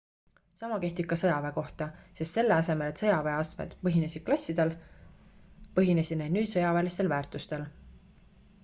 sama kehtib ka sõjaväe kohta sest selle asemel et sõjaväe astmed põhinesid klassil põhinesid need nüüd sõjaväelisel väärtusel